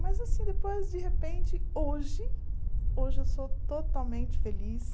Mas, assim, depois, de repente, hoje, hoje eu sou totalmente feliz.